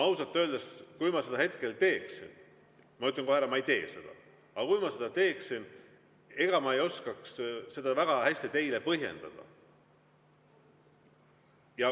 Ausalt öeldes, kui ma seda hetkel teeksin – ma ütlen kohe ära, et ma ei tee seda, aga kui ma seda teeksin –, siis ega ma ei oskaks seda väga hästi teile põhjendada.